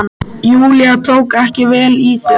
Júlía tók ekki vel í það.